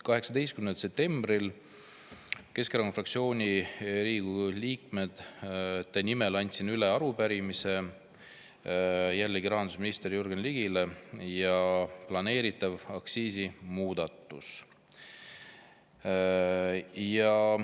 18. septembril andsin Riigikogu Keskerakonna fraktsiooni liikmete nimel üle arupärimise, jällegi rahandusminister Jürgen Ligile, ja planeeritava aktsiisimuudatuse kohta.